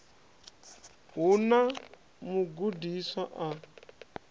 a hu na mugudiswa a